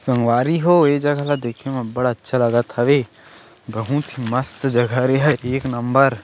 संगवारी हो ए देखे म अब्बड़ अच्छा लगत हवे बहुत ही मस्त जगह हरे एहा एक नंबर --